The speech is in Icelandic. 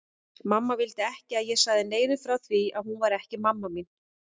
Mamma vildi ekki að ég segði neinum frá því að hún væri ekki mamma mín.